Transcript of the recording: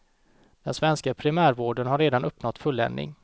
Den svenska primärvården har redan uppnått fulländning.